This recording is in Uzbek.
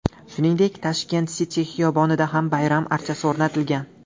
Shuningdek, Tashkent City xiyobonida ham bayram archasi o‘rnatilgan.